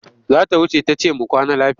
Za ta wuce ta ce mu kwana lafiya.